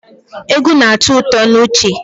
Egwu na-atọ ụtọ n'uche